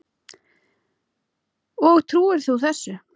Og trúir þú þessu?